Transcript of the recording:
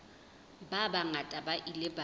ba bangata ba ile ba